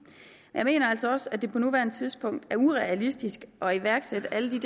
jeg mener altså også at det på nuværende tidspunkt er urealistisk at iværksætte alle